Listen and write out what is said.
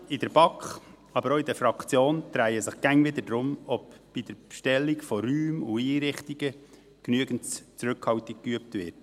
Die Diskussionen in der BaK, aber auch in der Fraktion drehen sich immer wieder darum, ob bei der Bestellung von Räumen und Einrichtungen genügend Zurückhaltung geübt wird.